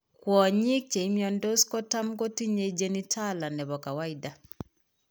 Kwonyik chemiondos kotam kotinye genitala nebo kawaida